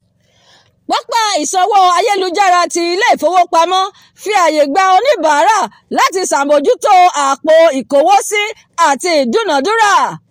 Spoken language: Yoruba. pápá ìsanwó ayélujára tí ile-ifowopamo fi àyè gba oníbàárà láti ṣàbójútó àpò ikowo sì àti ìdúnadúrà